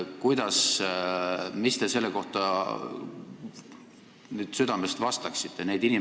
Mis te selle kohta südamest vastaksite?